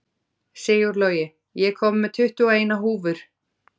Sigurlogi, ég kom með tuttugu og eina húfur!